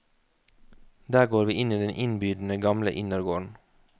Der går vi inn i den innbydende gamle innergården.